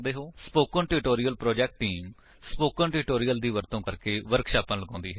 spoken tutorial project team spoken tutorials ਦਾ ਵਰਤੋ ਕਰਕੇ ਵਰਕਸ਼ਾਪਾਂ ਲਗਾਉਂਦੀ ਹੈ